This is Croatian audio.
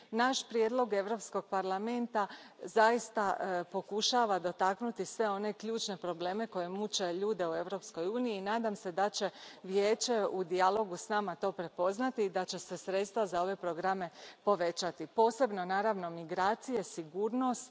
Naš prijedlog Europskog parlamenta zaista pokušava dotaknuti sve one ključne probleme koji muče ljude u Europskoj uniji i nadam se da će Vijeće u dijalogu s nama to prepoznati i da će se sredstva za ove programe povećati, posebno, naravno, migracije i sigurnost.